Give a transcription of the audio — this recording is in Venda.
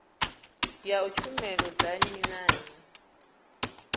ya tshumelo dza nnyi na